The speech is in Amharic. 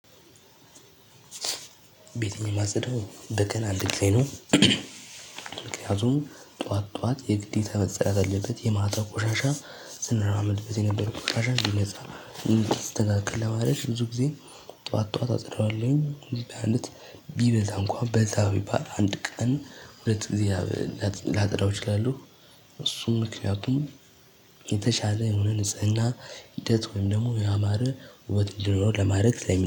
ቤቴን የማጸደው እኔ ነኝ። አንደገና አንድ ጊዜ ነው። ምክንያቱም ጠዋት ጠዋት የግዴታ መጸዳት አለበት። የማታው ቆሻሻ ስንራመድበት የነበረው ቆሻሻ እንዲነጻ፣ እንዲስተካከል ለማድረግ ብዙ ጊዜ ጠዋት ጠዋት አጸዳዋለሁኝ። ቢበዛ እንኳን በዛ ቢባል አንድ ቀን ሁለት ጊዜ ላጸዳው እችላለሁ። እሱም ምክንያቱም የተሻለ የሆነ ንጽህና ሂደት ወይም ደግሞ ያማረ ለማድረግ